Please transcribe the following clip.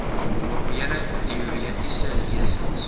formele teoretiese lesings